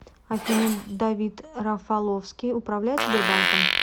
афина давид рафаловский управляет сбербанком